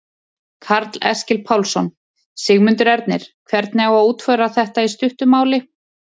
Karl Eskil Pálsson: Sigmundur Ernir, hvernig á að útfæra þetta í stuttu máli?